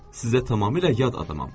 Sizə tamamilə yad adamam.